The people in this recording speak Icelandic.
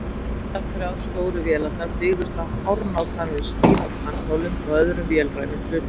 Allar þrjár stóru vélarnar byggðust á hárnákvæmri smíð á tannhjólum og öðrum vélrænum hlutum.